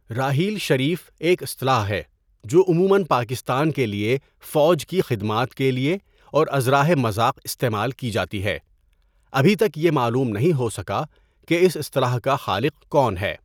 راحیل شریف ایک اصطلاح ہے جو عموماً پاکستان کے لیے فوج کی خدمات کے لیے اور ازراہ مذاق استعمال کی جاتی ہے ابھی تک یہ معلوم نہیں ہو سکا کہ اس اصطلاح کا خالق کون ہے.